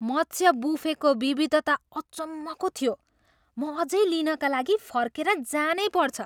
मत्स्य बुफेको विविधता अचम्मको थियो! म अझै लिनका लागि फर्केर जानैपर्छ।